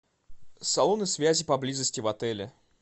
салоны связи поблизости в отеле